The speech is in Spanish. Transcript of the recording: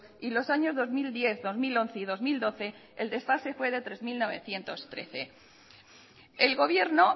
y los años dos mil diez dos mil once y dos mil doce el desfase fue de tres mil novecientos trece el gobierno